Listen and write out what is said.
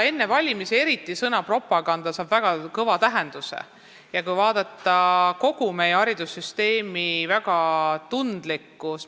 Enne valimisi saab sõna "propaganda" väga kõva tähenduse ja kui vaadata kogu meie haridussüsteemi, siis väga tundliku tähenduse.